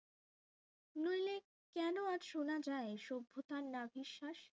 নইলে কেন আজ শোনা যায় সভ্যতার নাভিশ্বাস